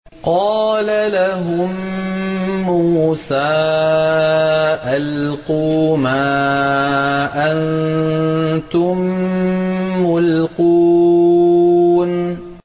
قَالَ لَهُم مُّوسَىٰ أَلْقُوا مَا أَنتُم مُّلْقُونَ